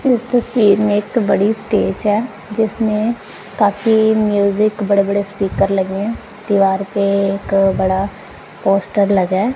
इस तस्वीर में एक बड़ी स्टेज है जिसमें ताकि म्यूजिक बड़े बड़े स्पीकर लगे हैं दीवार पे एक बड़ा पोस्टर लगा है।